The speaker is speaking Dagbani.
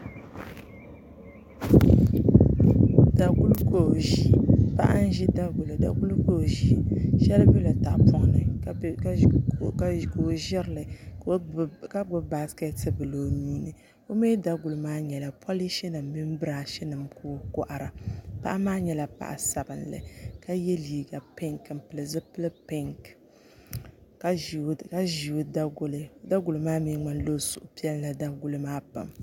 Paɣa n ʒi daguli shɛli biɛla tahapoŋ ni ka o ʒirili ka gbubi baskɛt bili o nuuni o mii daguli maa nyɛla polish nim mini birash nima ka o kohara paɣa maa nyɛla paɣa sabinli ka yɛ liiga pink ni zipili pinki ka ʒi o daguli o daguli maa mii ŋmanila o suhu piɛlla daguli maa pam